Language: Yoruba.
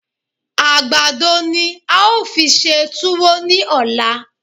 Àgbàdo ni a ó fi ṣe túwó ní ọ̀la.